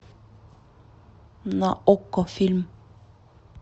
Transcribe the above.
на окко фильм